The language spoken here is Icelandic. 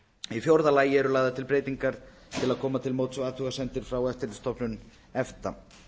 í fjórða lagi eru lagðar til breytingar til að koma til móts við athugasemdir frá eftirlitsstofnun efta